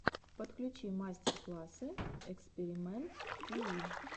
подключи мастер классы экспиримэнт тиви